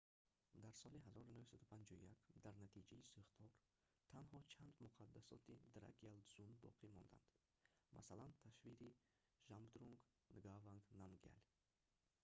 дар соли 1951 дар натиҷаи сӯхтор танҳо чанд муқадассоти дракгял дзун боқӣ монданд масалан тасвири жабдрунг нгаванг намгял